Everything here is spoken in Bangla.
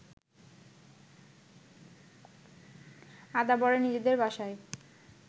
আদাবরে নিজেদের বাসায়